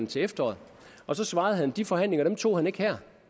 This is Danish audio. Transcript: til efteråret og da svarede han at de forhandlinger tog han ikke her